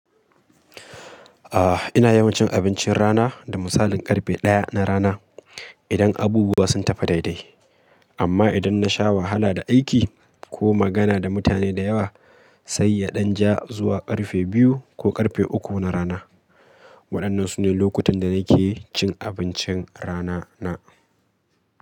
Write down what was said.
A ina yawancin abincin rana da misalin karfe 1 na rana idan abubuwa sun tafi daidai. Amma idan nasha wahala da aiki ko magana da mutane dayawa sai ya dan yaja zuwa karfe 2 ko karfe 3 na rana. Waɗannan su ne lokutan da nake cin abincin rana na.